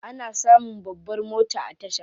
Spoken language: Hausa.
Ana samun babbar mota a tasha.